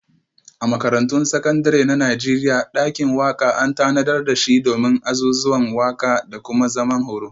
A Makarantun Sakandare na Najeriya, dakin waka an tanadar da shi domin azuzuwan waka da kuma zaman horo.